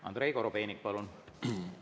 Andrei Korobeinik, palun!